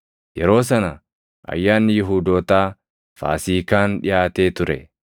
Yeroo sana Ayyaanni Yihuudootaa, Faasiikaan dhiʼaatee ture.